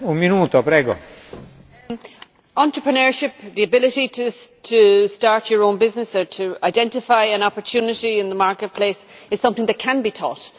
Mr President, entrepreneurship the ability to start your own business or to identify an opportunity in the marketplace is something that can be taught.